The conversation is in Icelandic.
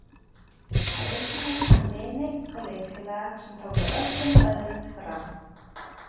Þar eignaðist hann vini og leikfélaga sem tóku öllum öðrum fram.